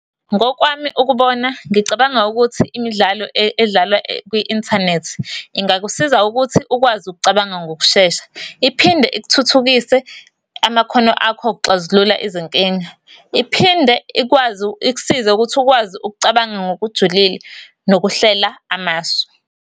Ngokwami ukubona, ngicabanga ukuthi imidlalo edlalwa kwi-inthanethi, ingakusiza ukuthi ukwazi ukucabanga ngokushesha. Iphinde ikuthuthukise amakhono akho okuxazulula izinkinga. Iphinde ikwazi, ikusize ukuthi ukwazi ukucabanga ngokujulile nokuhlela amasu.